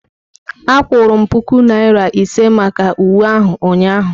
A kwụrụ m puku naira ise maka uwe ahụ ụnyahụ.